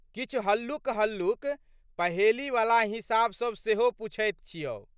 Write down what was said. किछु हल्लुकहल्लुक पहेलीवला हिसाब सब सेहो पुछैत छै।